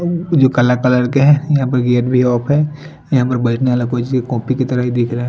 जो काला कलर के है यहाँ पर गेट भी ऑफ़ है यहाँ पर बजने वाला कोई सी कॉपी कि तरह ही दिखरा है।